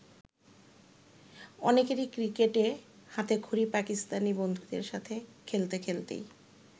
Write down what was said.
অনেকেরই ক্রিকেটে হাতেখড়ি পাকিস্তানি বন্ধুদের সাথে খেলতে খেলতেই।